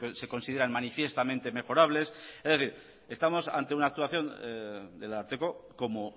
se consideran manifiestamente mejorables es decir estamos ante una actuación del ararteko como